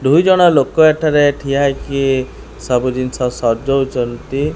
ଦୁଇ ଜଣ ଲୋକ ଏଠାରେ ଠିଆ ହୋଇକି ସବୁ ଜିନିଷ ସଜଉଚନ୍ତି।